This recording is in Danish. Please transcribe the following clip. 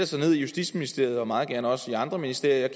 sig ned i justitsministeriet og meget gerne også i andre ministerier